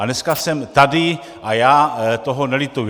A dneska jsem tady a já toho nelituji.